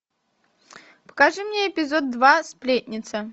покажи мне эпизод два сплетница